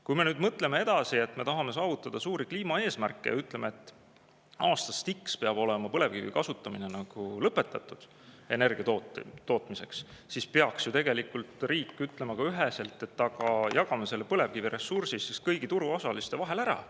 Kui me nüüd mõtleme edasi, et me tahame saavutada suuri kliimaeesmärke ja ütleme, et aastast x peab põlevkivi kasutamine energia tootmiseks olema lõpetatud, siis peaks riik ju tegelikult ütlema üheselt: jagame selle põlevkiviressursi kõigi turuosaliste vahel ära.